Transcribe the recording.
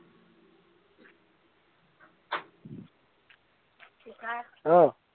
অ